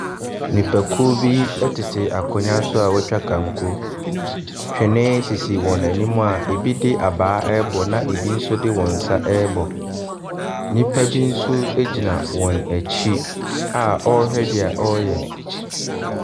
Nnipakuo bi tete akonnwa so a wɔatwa kanko. Twene sisi wɔn anim a ebi de abaa rebɔ na ebi nso de wɔn nsa rebɔ. Nnipa bi nso gyina wɔn akyi a wɔrehwɛ deɛ wɔreyɛ.